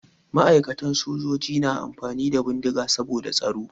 Ma'aikatan sojoji na amfani da bindiga saboda tsaro.